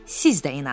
Siz də inanın.